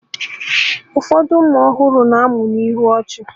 Ụfọdụ ụmụ ọhụrụ na-amụ na ihu ọchị